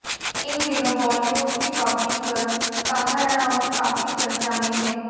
इन दिनों बॉलीवुड की bubbly girl Kangana Ranaut काफी चर्चा में हैं